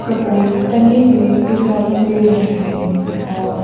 कपड़े टंगे हुए दिखाई दे रहे हैं और--